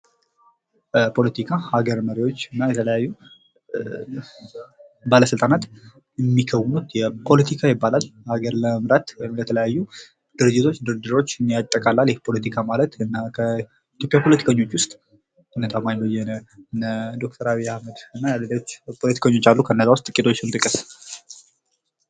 ፖለቲካ ሀገር መሪዎች እና የተለያዩ ባለስልጣናት የሚከዉኑት ፖለቲካ ይባላል። ሀገር ለመምራት ወይም የተለያዩ ድርድሮች ያጠቃልላል። ይህ ፖለቲካ ማለት ከኢትዮጵያ ፖለቲከኞች ዉስጥ እነ ታማኝ በየነ ዶ/ር አብይ አህመድ እና ሌሎች ፖለቲከኞች አሉ። እና ከእነዚህ ዉስጥ የተወሰኑትን ጥቀስ?